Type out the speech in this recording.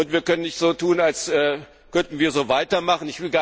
Wir können nicht so tun, als könnten wir so weitermachen.